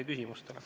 Aitäh!